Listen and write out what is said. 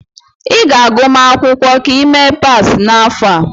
Ị ga-agụma akwụkwọ ka ị mee pass n'afọ a.